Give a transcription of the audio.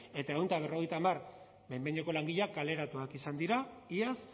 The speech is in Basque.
eta ehun eta berrogeita hamar behin behineko langileak kaleratuak izan dira iaz